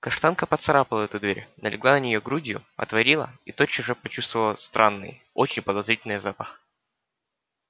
каштанка поцарапала эту дверь налегла на неё грудью отворила и тотчас же почувствовала странный очень подозрительный запах